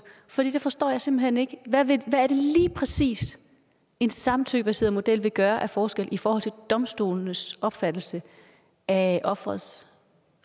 for det forstår jeg simpelt hen ikke hvad er det lige præcis en samtykkebaseret model vil gøre af forskel i forhold til domstolenes opfattelse af offerets